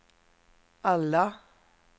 alla